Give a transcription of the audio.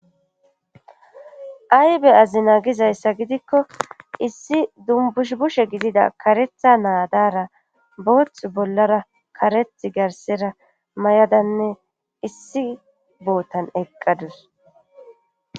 aybe azina gizayssa gidikko issi dumbush bushe gidida karetha naadara booth bollara kareth garsera may7adanne issi bootan eqqadus